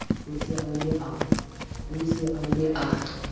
o se a ne a